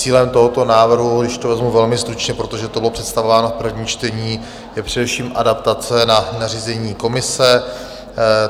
Cílem tohoto návrhu, když to vezmu velmi stručně, protože to bylo představováno v prvním čtení, je především adaptace na nařízení Komise.